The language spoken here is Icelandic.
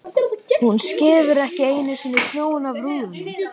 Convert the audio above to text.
Hún skefur ekki einu sinni snjóinn af rúðunum!